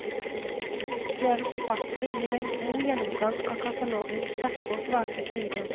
Flere forfattere gir en god gjennomgang av katalogens sterke og svake sider.